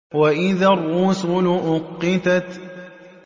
وَإِذَا الرُّسُلُ أُقِّتَتْ